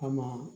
Kama